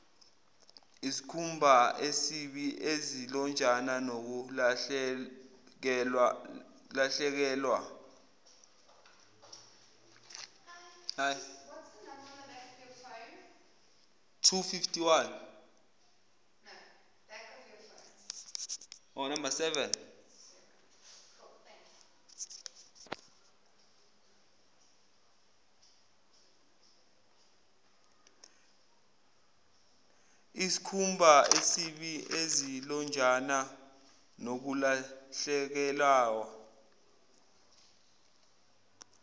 iskhumbaesibi izilonjana nokulahlekelawa